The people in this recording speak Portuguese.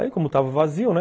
Aí, como estava vazio, né,